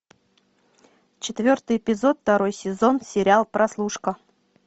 четвертый эпизод второй сезон сериал прослушка